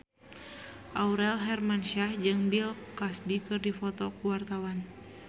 Aurel Hermansyah jeung Bill Cosby keur dipoto ku wartawan